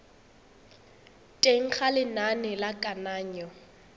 teng ga lenane la kananyo